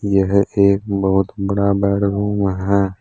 यह एक बहुत बड़ा बेडरूम है।